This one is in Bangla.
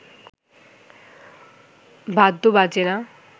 বাদ্য বাজে না